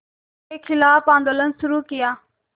के ख़िलाफ़ आंदोलन शुरू किया